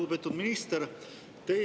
Lugupeetud minister!